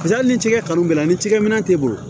Paseke hali ni tigɛ kanu bɛ a la ni cikɛmin'e bolo